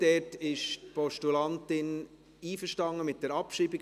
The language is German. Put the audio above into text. Dort ist die Postulantin einverstanden mit der Abschreibung.